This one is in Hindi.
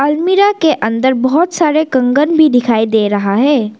अलमीरा के अंदर बहोत सारे कंगन भी दिखाई दे रहा है।